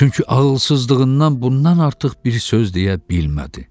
Çünki ağılsızlığından bundan artıq bir söz deyə bilmədi.